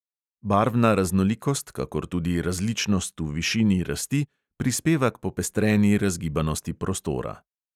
Barvna raznolikost, kakor tudi različnost v višini rasti, prispeva k popestreni razgibanosti prostora.